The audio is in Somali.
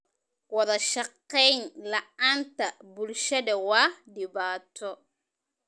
Wadashaqeyn la'aanta bulshada waa dhibaato.